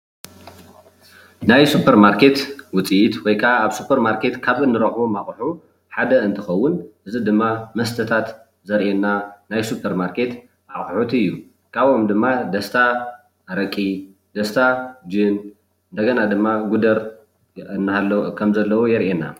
ናይ ሱፐር ማርኬት ውፅኢት ወይ ከዓ ኣብ ሱፐር ማርኬት ካብ እንሮክቦም ኣቁሑ ሓደ እንትከውን እዚ ድማ መስተታት ዘሪአና ናይ ሱፐር ማርኬት ኣቁሑት እዩ። ካብኦም ድማ ደስታ ኣረቂ፣ ደስታ ጅን፣ እንደገና ድማ ጉደር ከምዘለዉ የሪአና።